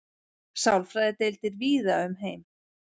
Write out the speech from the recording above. Sálfræðideildir víða um heim.